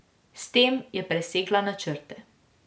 S tem je presegla načrte.